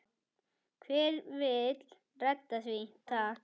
Hver vill redda því takk?